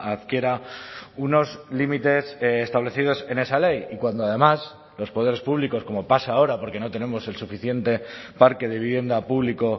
adquiera unos límites establecidos en esa ley y cuando además los poderes públicos como pasa ahora porque no tenemos el suficiente parque de vivienda público